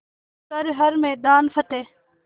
कर हर मैदान फ़तेह